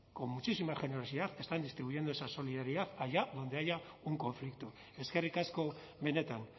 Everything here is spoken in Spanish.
con muchísima generosidad están distribuyendo esa solidaridad allá donde haya un conflicto eskerrik asko benetan